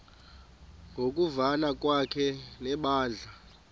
ngokuvana kwakhe nebandla